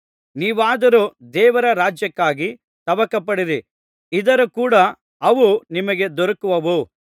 ನೀವಾದರೋ ದೇವರ ರಾಜ್ಯಕ್ಕಾಗಿ ತವಕಪಡಿರಿ ಇದರ ಕೂಡ ಅವೂ ನಿಮಗೆ ದೊರಕುವವು